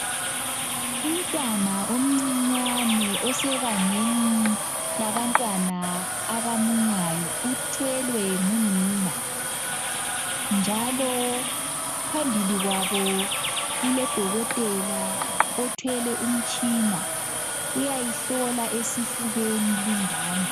Umntwana omcinyane osebangeni labantwana abamunyayo uthwelwe ngunina njalo phambili kwabo kulodokotela othwele umtshina uyayihlola esifubeni lingane.